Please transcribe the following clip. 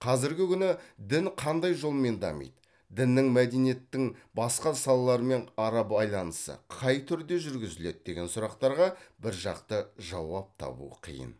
қазіргі күні дін қандай жолмен дамиды діннің мәдениеттің басқа салаларымен ара байланысы қай түрде жүргізіледі деген сұрақтарға біржақты жауап табу қиын